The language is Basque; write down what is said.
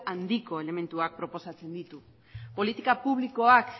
handiko elementuak proposatzen ditu politika publikoak